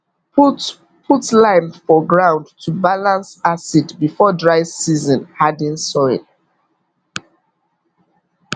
put put lime for ground to balance acid before dry season harden soil